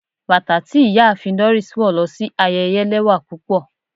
Batà ti Iyaafin Doris wọ lo si ayẹyẹ lẹwa pupọ